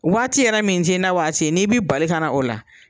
Waati yɛrɛ min t'i na waati ye n'i bɛ bali kana o la